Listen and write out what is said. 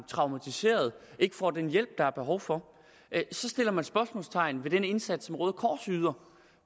traumatiserede og ikke får den hjælp der er behov for så sætter man spørgsmålstegn ved den indsats som røde kors yder